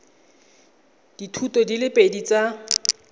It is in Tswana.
dithuto di le pedi tsa